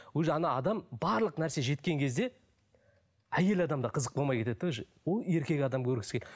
уже адам барлық нәрсе жеткен кезде әйел адам да қызық болмай кетеді де уже ол еркек адам көргісі келеді